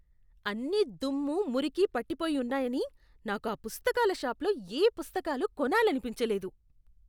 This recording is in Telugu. అన్నీదుమ్ము, మురికి పట్టిపోయి ఉన్నాయని నాకు ఆ పుస్తకాల షాప్లో ఏ పుస్తకాలు కొనాలనిపించలేదు.